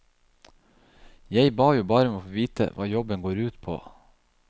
Jeg ba jo bare om å få vite hva jobben går ut på.